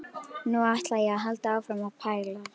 Nú ætla ég að halda áfram að pæla.